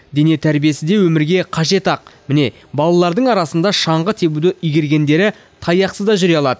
дене тәрбиесі де өмірге қажет ақ міне балалардың арасында шаңғы тебуді игергендері таяқсыз да жүре алады